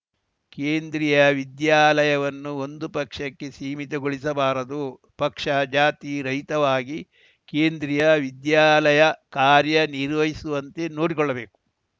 ಕೇಂದ್ರೀಯ ವಿದ್ಯಾಲಯವನ್ನು ಒಂದು ಪಕ್ಷಕ್ಕೆ ಸೀಮಿತಗೊಳಿಸಬಾರದು ಪಕ್ಷ ಜಾತಿ ರಹಿತವಾಗಿ ಕೇಂದ್ರೀಯ ವಿದ್ಯಾಲಯ ಕಾರ್ಯ ನಿರ್ವಹಿಸುವಂತೆ ನೋಡಿಕೊಳ್ಳಬೇಕು